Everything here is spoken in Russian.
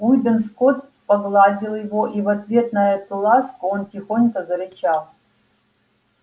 уидон скот погладил его и в ответ на эту ласку он тихонько зарычал